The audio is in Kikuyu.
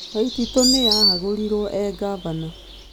Waititu nĩ ahagũrirwo ee ngavana.